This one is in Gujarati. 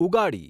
ઉગાડી